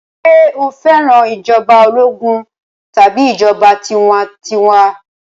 Ṣé o fẹ́ràn ìjọba ológun tàbí ìjọba tiwantiwa?